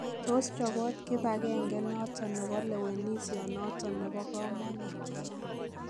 Tos choboot kibangengenoton nebo lewenisienoton nebokomonuut.